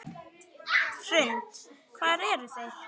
Hrund: Hvar eru þeir?